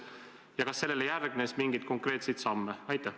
Ja kas sellele raportile järgnes mingeid konkreetseid samme?